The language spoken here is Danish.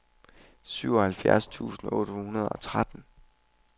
syvoghalvfjerds tusind otte hundrede og tretten